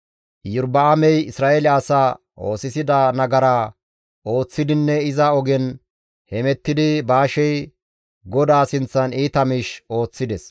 Iyorba7aamey Isra7eele asaa oosisida nagaraa ooththidinne iza ogen hemettidi Baashey GODAA sinththan iita miish ooththides.